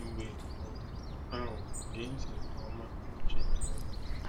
Mgbe um ahụ gee ntị nke ọma n'uche ndị ọzọ.